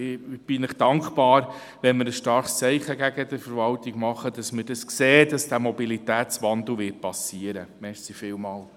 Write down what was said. Ich bin Ihnen dankbar, wenn wir ein starkes Zeichen gegenüber der Verwaltung setzen und zum Ausdruck bringen, dass wir sehen, dass dieser Mobilitätswandel geschehen wird.